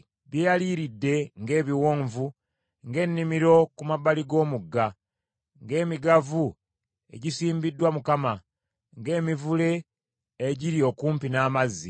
“Byeyaliiridde ng’ebiwonvu, ng’ennimiro ku mabbali g’omugga, ng’emigavu egisimbiddwa Mukama ng’emivule egiri okumpi n’amazzi.